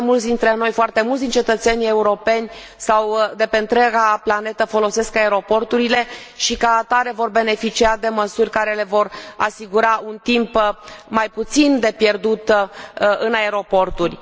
Foarte mulți dintre noi, foarte mulți din cetățenii europeni sau de pe întreaga planetă folosesc aeroporturile și, ca atare, vor beneficia de măsuri care le vor asigura mai puțin timp pierdut în aeroporturi.